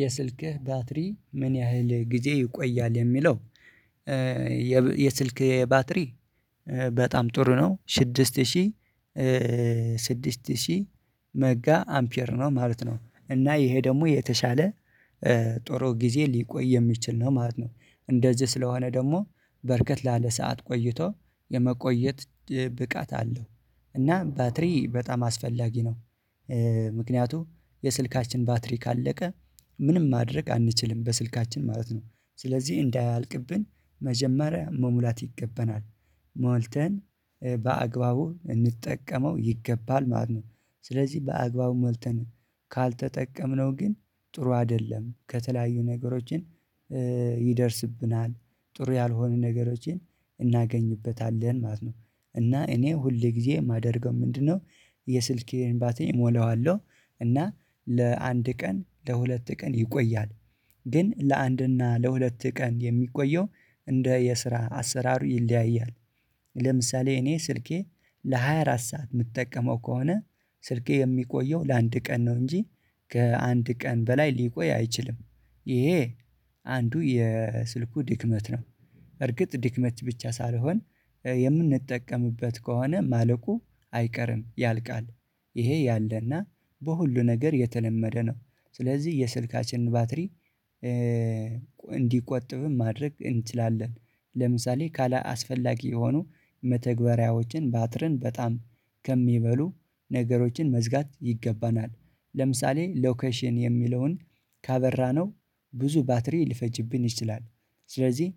የስልክህ ባትሪ ምን ያህል ጊዜ ይቆያል? የሚለው የስልኬ ባትሪ በጣም ጥሩ ነው ስድስት ሺህ ስድስት ሺህ መጋ አምፒየር ነው ማለት ነው። እና ይሄ ደግሞ የተሻለ ጥሩ ጊዜ ሊቆይ የሚችል ነው ማለት ነው። እንደዚህ ስለሆነ ደግሞ በርከት ላለ ሰዓት ቆይቶ የመቆየት ብቃት አለው። እና ባትሪ በጣም አስፈላጊ ነው። ምክንያቱም የስልካችን ባትሪ ካለቀ ምንም ማድረግ አንችልም በስልካችን ማለት ነው። ስለዚህ እንዳያልቅብን መጀመሪያ መሙላት ይገባናል ሞልተን በአግባቡ እንጠቀመው ይገባል ማለት ነው ስለዚህ በአግባቡ መልተን ካልተጠቀምነው ግን ጥሩ አይደለም ከተለያዩ ነገሮችን ይደርስብናል ጥሩ ያልሆነ ነገሮችን እናገኝበታለን ማለት ነው። እና እኔ ሁሌ ጊዜ የማደርገው ምንድነው የስልኬ ባትሪ እሞላዋለው። እና ለአንድ ቀን ለሁለት ቀን ይቆያል ግን ለአንድና ለሁለት ቀን የሚቆየው እንደ የስራ አሰራሩ ይለያያል። ለምሳሌ እኔ ስልኬ ለሃያ አራት ሰዓት የምጠቀመው ከሆነ ስልኬ የሚቆየው ለአንድ ቀን ነው እንጂ ከአንድ ቀን በላይ ሊቆይ አይችልም። ይሄ አንዱ የስልኩ ድክመት ነው እርግጥ ድክመት ብቻ ሳልሆን የምንጠቀምበት ከሆነ ማለቁ አይቀርም ያልቃል። ይሄ ያለና በሁሉ ነገር የተለመደ ነው ስለዚህ የስልካችንን ባትሪ እንዲቆጥብም ማድረግ እንችላለን ለምሳሌ ካላስፈላጊ የሆኑ መተግበሪያዎችን ባትረን በጣም ከሚበሉ ነገሮችን መዝጋት ይገባናል። ለምሳሌ ሎኬሽን የሚለውን ካበራነው ብዙ ባትሪ ሊፈጅብን ይችላል ስለዚህ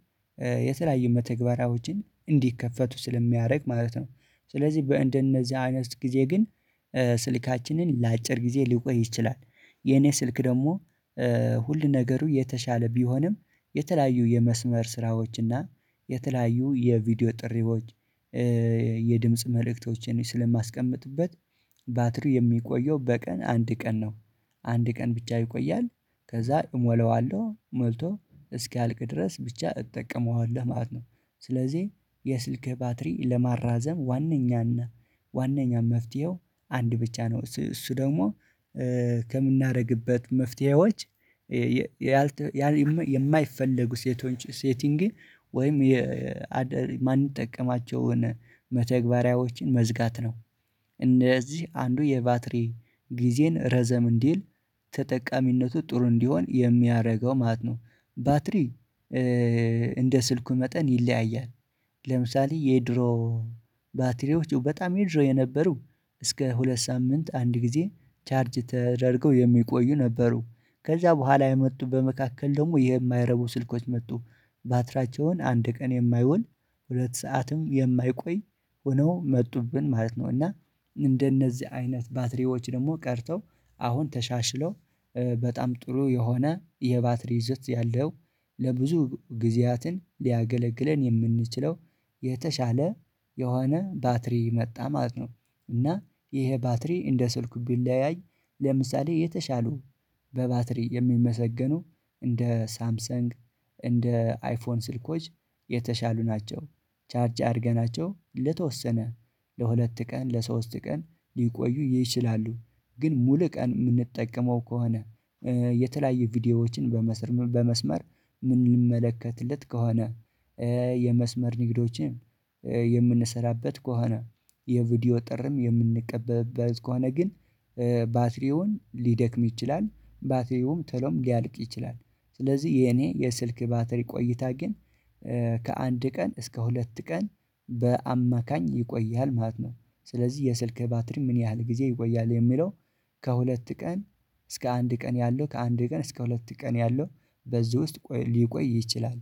የተለያዩ መተግበራዎችን እንዲከፈቱ ስለሚያደርግ ማለት ነው ስለዚህ በእንደነዚህ አይነት ጊዜ ግን ስልካችንን ለአጭር ጊዜ ሊቆይ ይችላል የኔ ስልክ ደግሞ ሁሉ ነገሩ የተሻለ ቢሆንም የተለያዩ የመስመር ስራዎች እና የተለያዩ የቪዲዮ ጥሪዎች የድምጽ መልእክቶችን ስለማስቀምጥበት ባትሪ የሚቆየው በቀን አንድ ቀን ነው። አንድ ቀን ብቻ ይቆያል ከዛ እሞላዋለሁ ሞልቶ እስኪያልቅ ድረስ ብቻ እጠቀመዋለሁ ማለት ነው። ስለዚህ የስልክህ ባትሪ ለማራዘም ዋናኛና ዋናኛ መፍትሄው አንድ ብቻ ነው እሱ ደግሞ ከምናደርግበት መፍትሄዎች ያልተ የማይፈለጉ ሴቶች ሴቲንግ ወይም የማንጠቀማቸውን መተግበሪያዎችን መዝጋት ነው። እነዚህ አንዱ የባትሪ ጊዜን ረዘም እንዲል ተጠቃሚነቱ ጥሩ እንዲሆን የሚያደርገው ማለት ነው። ባትሪ እንደ ስልኩ መጠን ይለያያል ለምሳሌ የድሮ ባትሪዎች በጣም የድሮ የነበሩ እስከ ሁለት ሳምንት አንድ ጊዜ ቻርጅ ተደርገው የሚቆዩ ነበሩ ከዛ በኋላ የመጡ በመካከል ደግሞ የማይረቡ ስልኮች መጡ። ባትሪያቸውን አንድ ቀን የማይውል ሁለት ሰዓትም የማይቆይ ሆነው መጡብን ማለት ነው እና እንደነዚህ አይነት ባትሪዎች ደግሞ ቀርተው አሁን ተሻሽለው በጣም ጥሩ የሆነ የባትሪ ይዘት ያለው ለብዙ ጊዜያትን ሊያገለግለን የምንችለው የተሻለ የሆነ ባትሪ መጣ ማለት ነው እና ይሄ ባትሪ እንደ ስልኩ ቢለያይ ለምሳሌ የተሻሉ በባትሪ የሚመሰገኑ እንደ ሳምሰንግ እንደ አይፎን ስልኮች የተሻሉ ናቸው። ቻርጅ አርገናቸው ለተወሰነ ለሁለት ቀን ለሶስት ቀን ሊቆዩ ይችላሉ ግን ሙሉ ቀን የምንጠቀመው ከሆነ የተለያዩ ቪዲዮዎችን በመስር በመስመር ምንመለከትለት ከሆነ የመስመር ንግዶችን የምንሰራበት ከሆነ የቪዲዮ ጥሪም የምንቀበብበት ከሆነ ግን ባትሪውን ሊደክም ይችላል ባትሪውም ቶሎም ሊያልቅ ይችላል ስለዚህ የኔ የስልክ ባትሪ ቆይታ ግን ከአንድ ቀን እስከ ሁለት ቀን በአማካኝ ይቆያል ማለት ነው። ስለዚህ የስልክ ባትሪ ምን ያህል ጊዜ ይቆያል የሚለው ከሁለት ቀን እስከ አንድ ቀን ያለው ከአንድ ቀን እስከ ሁለት ቀን ያለው በዚህ ውስጥ ሊቆይ ይችላል።